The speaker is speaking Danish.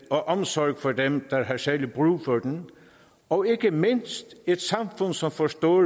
og omsorg for dem der har særlig brug for den og ikke mindst et samfund som forstår